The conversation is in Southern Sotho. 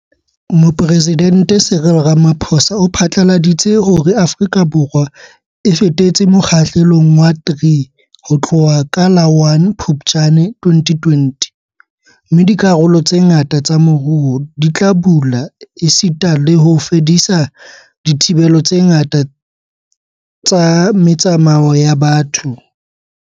Mopresidente Cyril Ramaphosa o phatlaladitse hore Afrika Borwa e fetetse Mo kgahlelong wa 3 ho tloha ka la 1 Phuptjane 2020 - mme dikarolo tse ngata tsa moruo di tla bula esita le ho fedisa dithibelo tse ngata tsa me tsamao ya batho.